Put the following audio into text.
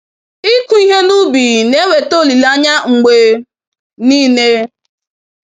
Ịkụ ihe n'ubi na eweta olileanya mgbe nile.